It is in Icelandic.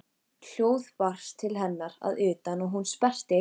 Hljóð barst til hennar að utan og hún sperrti eyrun.